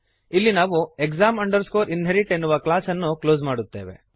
ಇಲ್ಲಿ ನಾವು exam inherit ಎನ್ನುವ ಕ್ಲಾಸ್ ಅನ್ನು ಕ್ಲೋಸ್ ಮಾಡುತ್ತೇವೆ